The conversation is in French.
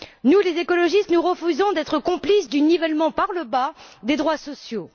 Nous, les écologistes, nous refusons d'être complices du nivellement par le bas des droits sociaux.